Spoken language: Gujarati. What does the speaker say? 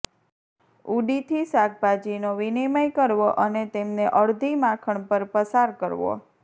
ઉડીથી શાકભાજીનો વિનિમય કરવો અને તેમને અડધી માખણ પર પસાર કરવો